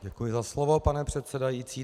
Děkuji za slovo, pane předsedající.